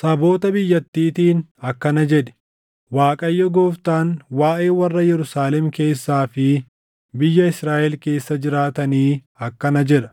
Saboota biyyattiitiin akkana jedhi: ‘ Waaqayyo Gooftaan waaʼee warra Yerusaalem keessaa fi biyya Israaʼel keessa jiraatanii akkana jedha: